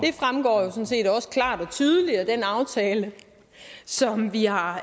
tydeligt af den aftale som vi har